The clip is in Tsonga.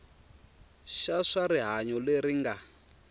xa swa rihanyo lexi nga